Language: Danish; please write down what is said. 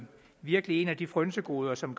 virkelig et af de frynsegoder som